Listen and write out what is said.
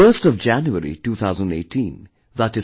The 1st of January, 2018, i